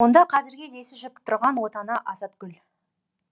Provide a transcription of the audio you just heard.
онда қазірге десі жүріп тұрған отана азатгүл